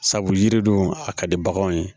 Sabu yiri dun a ka di baganw ye